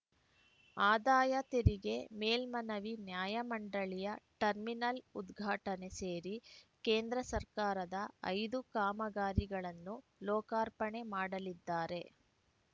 ಆದಾಯ ತೆರಿಗೆ ಮೇಲ್ಮನವಿ ನ್ಯಾಯಮಂಡಳಿಯ ಟರ್ಮಿನಲ್‌ ಉದ್ಘಾಟನೆ ಸೇರಿ ಕೇಂದ್ರ ಸರ್ಕಾರದ ಐದು ಕಾಮಗಾರಿಗಳನ್ನು ಲೋಕಾರ್ಪಣೆ ಮಾಡಲಿದ್ದಾರೆ